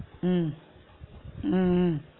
உம் உம் உம்